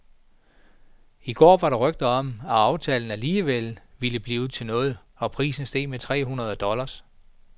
I går var der rygter om, at aftalen alligevel ville blive til noget, og prisen steg med tre hundrede dollar.